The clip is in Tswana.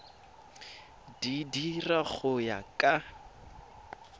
di dira go ya ka